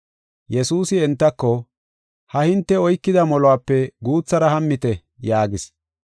Yesuusi entako, “Ha77i hinte oykida moluwape guuthara hammite” yaagis.